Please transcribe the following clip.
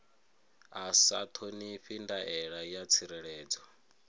a sa ṱhonifhi ndaela ya tsireledzo